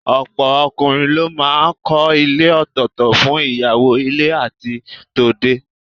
Ọ̀pọ̀ ọkùnrin ló máa ń kọ́ ilé òtọ̀ọ̀tọ̀ fún ìyàwó ilé àti tòde